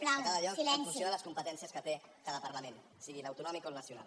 a cada lloc en funció de les competències que té cada parlament sigui l’autonòmic o el nacional